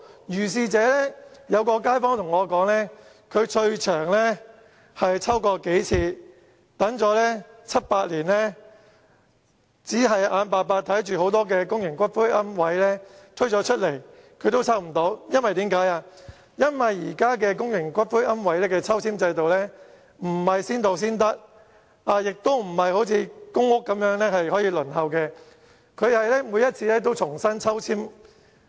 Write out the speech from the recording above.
有街坊告訴我，他已抽過數次，合共等了七八年，最終也是眼睜睜看着很多新推出的公營龕位被其他人抽了，原因是現時公營龕位的抽籤制度並不是先到先得，也不是像公屋般可以輪候，而是每次都要重新抽籤。